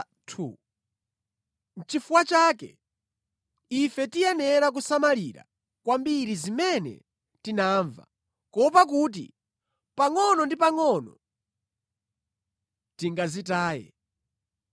Nʼchifukwa chake, ife tiyenera kusamalira kwambiri zimene tinamva, kuopa kuti pangʼono ndi pangʼono tingazitaye.